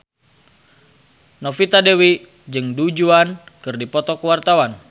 Novita Dewi jeung Du Juan keur dipoto ku wartawan